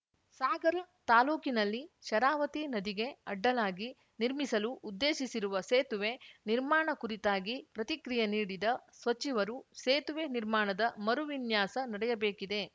ಸಾಗರ ತಾಲೂಕಿನಲ್ಲಿ ಶರಾವತಿ ನದಿಗೆ ಅಡ್ಡಲಾಗಿ ನಿರ್ಮಿಸಲು ಉದ್ದೇಶಿಸಿರುವ ಸೇತುವೆ ನಿರ್ಮಾಣ ಕುರಿತಾಗಿ ಪ್ರತಿಕ್ರಿಯೆ ನೀಡಿದ ಸಚಿವರು ಸೇತುವೆ ನಿರ್ಮಾಣದ ಮರುವಿನ್ಯಾಸ ನಡೆಯಬೇಕಿದೆ